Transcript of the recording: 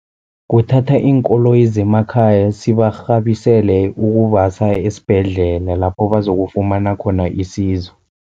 Kuthatha iinkoloyi zemakhaya sibarhabisele ukubasa esibhedlela, lapho bazokufumana khona isizo.